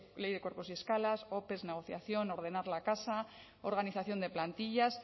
ley de cuerpos y escalas ope negociación ordenar la casa organización de plantillas